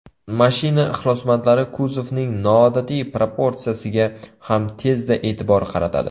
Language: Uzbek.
Mashina ixlosmandlari kuzovning noodatiy proportsiyasiga ham tezda e’tibor qaratadi.